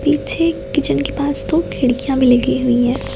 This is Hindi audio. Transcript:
पीछे किचन के पास दो खिड़कियां भी लगी हुई हैं।